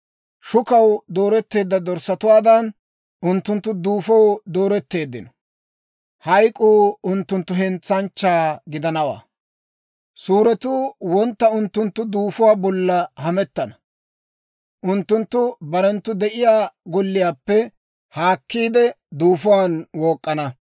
Shukaw dooretteedda dorssatuwaadan, unttunttu duufoo dooretteeddino; Hayk'k'uu unttunttu hentsanchchaa gidanawaa. Suuretuu wontta unttunttu duufuwaa bolla hamettana; unttunttu barenttu de'iyaa golliyaappe haakkiide, duufuwaan wook'k'ana.